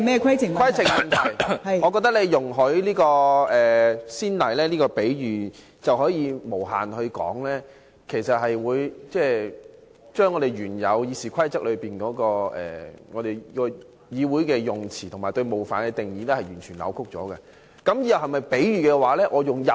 規程問題，我覺得你容許這個先例，這個比喻便能無限說下去，便會把《議事規則》中，議會的用詞和對冒犯的定義完全扭曲了。